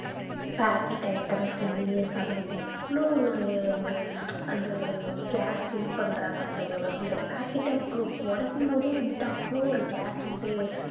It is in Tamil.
packet items lays அதுல எவ்வளவு ஒரு ஒரு அந்த ஒரு gas fill பண்றாங்க அந்த ஒரு அந்த pocket அ உடைக்கும் போதே வந்துட்டு அவ்ளோ ஒரு gas வந்து